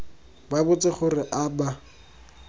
ba botse gore a ba